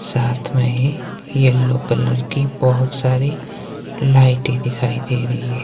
साथ में ही येलो कलर की बहोत सारी लाइटे दिखाई दे रही हैं।